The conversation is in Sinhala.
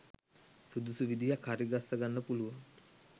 සුදුසු විදිහක් හරිගස්ස ගන්න පුළුවන්.